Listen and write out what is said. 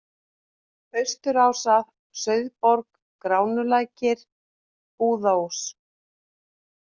Austurásar, Sauðborg, Gránulækir, Búðaós